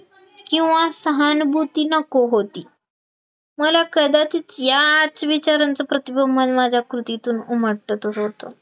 किंवा सहानभूती नको होती, मला कदाचित याच विचारांचं प्रतिबिंब माझ्या कृतीतून उमटतच होतं